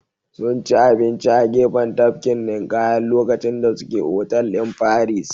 Sunci abinci a gefen tafkin ninƙayan lokacin da suke otal din paris